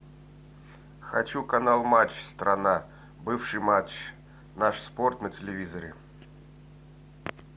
хочу канал матч страна бывший матч наш спорт на телевизоре